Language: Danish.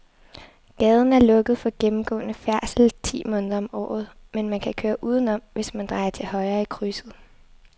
Gaden er lukket for gennemgående færdsel ti måneder om året, men man kan køre udenom, hvis man drejer til højre i krydset.